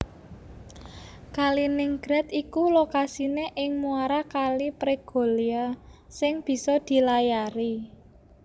Kaliningrad iku lokasiné ing muara Kali Pregolya sing bisa dilayari